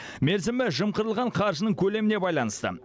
мерзімі жымқырылған қаржының көлеміне байланысты